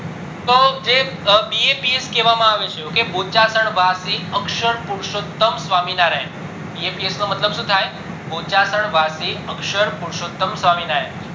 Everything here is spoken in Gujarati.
તો જે baps કેવા આવે છે બોચાસણ વસી અક્ષર પુરષોતમ સ્વામીનારાયણ baps નો મતલબ શું થાય બોચાસણ વસી અક્ષર પુરષોતમ સ્વામીનારાયણ